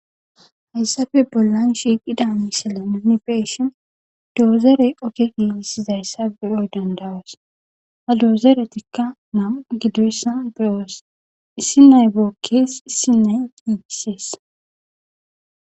Eayssafe bollan shiiqida mishile nini beshin doozere okke giissizayssa beyoy dandawas ha doozeretikka mam gidoyssa biros issi nayboo kees issi naygiissees